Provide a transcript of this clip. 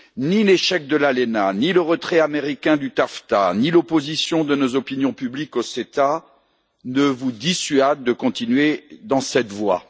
Ni l'échec de l'ALENA, ni le retrait américain du TAFTA, ni l'opposition de nos opinions publiques à l'AECG ne vous dissuadent de continuer dans cette voie.